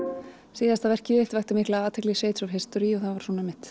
síðasta verkið þitt vakti mikla athygli Shades of History það var